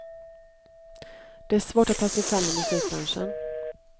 Det är svårt att ta sig fram i musikbranschen.